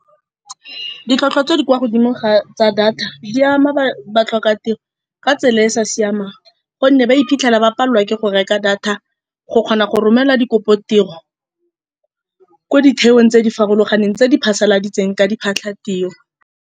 Ditlhwatlhwa tse di kwa godimo tsa data, di ama ba batlhokatiro ka tsela e e sa siamang, ka gonne ba iphitlhela ba palelwa ke go reka data go kgona go romela dikopo tiro ko ditheong tse di farologaneng tse di phasaladitseng ka diphatlha tiro.